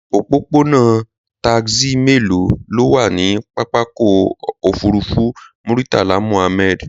Òpópónà taxi mélòó ló wà ní pápákọ̀ òfurufú Muritala Muhammad?